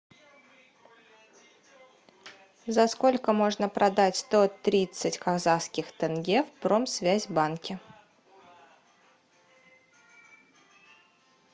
за сколько можно продать сто тридцать казахских тенге в промсвязь банке